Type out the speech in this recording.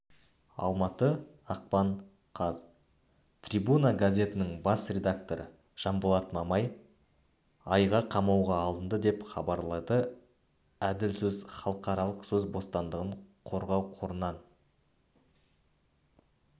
алматы ақпан қаз трибуна газетінің бас редакторы жанболат мамай айға қамауға алынды деп хабарлады әділ сөз халықаралық сөз бостандығын қорғау қорынан